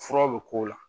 Fura bɛ k'o la